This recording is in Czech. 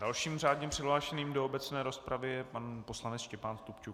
Dalším řádně přihlášeným do obecné rozpravy je pan poslanec Štěpán Stupčuk.